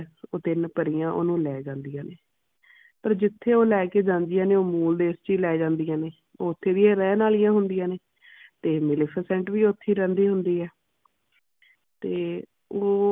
ਉਹ ਤਿੰਨ ਪਰੀਆਂ ਓਹਨੂੰ ਲੈ ਜਾਂਦੀਆਂ ਨੇ। ਪਰ ਜਿਥੇ ਉਹ ਲੈ ਕੇ ਜਾਂਦੀਆਂ ਨੇ ਉਹ ਮੂਲ ਦੇਸ ਵਿਚ ਲੈ ਜਾਂਦੀਆਂ ਨੇ। ਓਥੇ ਦੀ ਇਹ ਰਹਿਣ ਆਲੀਆ ਹੁੰਦੀਆਂ ਨੇ ਤੇ ਮੈਲਫੀਸੈਂਟ ਵੀ ਉਥੇ ਰਹਿੰਦੀ ਹੁੰਦੀ ਹੈ। ਤੇ ਉਹ